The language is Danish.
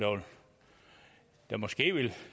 der måske vil